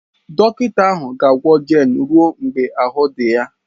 Dọkịta ahụ ga-agwọ Jane ruo mgbe ahụ́ dị ya.